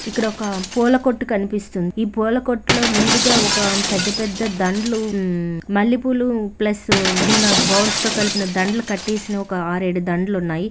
ఇక్కడ ఒక పూల కొట్టు కనిపిస్తుంది ఈ పూల కొట్లో ముందుగా ఒక పెద్ద పెద్ద దండలు హ్మ్మ్ మల్లెపూలు ప్లస్ చిన్న బాల్స్ తో కలిపిన దండలు కట్టేసిన ఒక ఆరు ఏడు దండలు ఉన్నాయి.